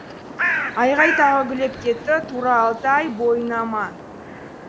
айғай тағы гулеп кетті тура алты ай бойына ма